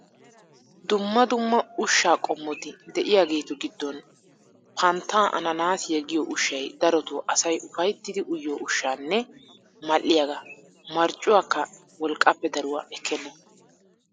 Dumma dumma ushshaa qommoti de'aygeetu giddon panttaa ananaasiya giyo ushshay darotoo asay ufayttidi uyiyo ushshanne mal"iyagaa. Marccuwakka wolqqaappe daruwa ekkenna.